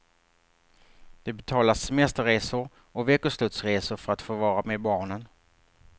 De betalar semesterresor och veckoslutsresor för att få vara med barnen.